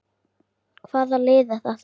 Hvaða lið er þetta?